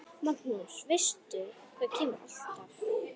Magnús: Veistu hvað kemur alltaf?